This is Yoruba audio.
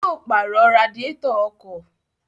Yóò pàrọ̀ radiétọ̀ ọkọ̀